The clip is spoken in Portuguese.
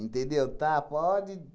Tá, pode